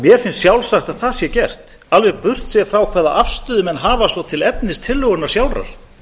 mér finnst sjálfsagt að það sé gert alveg burt séð frá hvaða afstöðu menn hafa svo til efnis tillögunnar sjálfrar